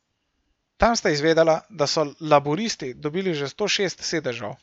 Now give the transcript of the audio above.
Tam sta izvedela, da so laburisti dobili že sto šest sedežev.